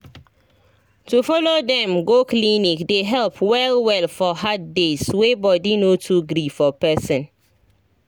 to follow dem go clinic dey help well well for hard days wey body no too gree for person.